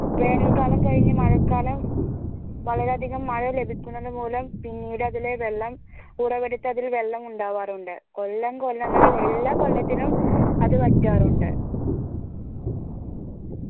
വേനൽ കാലം കഴിഞ്ഞു മഴക്കാലം വളരെ അധികം മഴ ലഭിക്കുന്നത് മൂലം പിന്നീട് അതിലെ വെള്ളം ഉറവ എടുത്ത് അതിൽ വെള്ളം ഉണ്ടാവാറുണ്ട് കൊല്ലം കൊല്ലങ്ങളില്‍ എല്ലാ കൊല്ലത്തിലും അത് വറ്റാറുണ്ട്